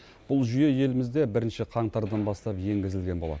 бұл жүйе елімізде бірінші қаңтардан бастап енгізілген болатын